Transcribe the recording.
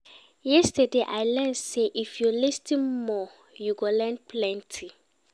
Yesterday, I learn sey if you lis ten more, you go learn plenty.